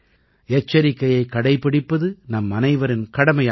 எச்சரிக்கையைக் கடைப்பிடிப்பது நம்மனைவரின் கடமையாகும்